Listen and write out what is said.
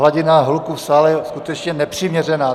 Hladina hluku v sále je skutečně nepřiměřená.